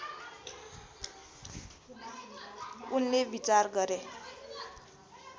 उनले विचार गरे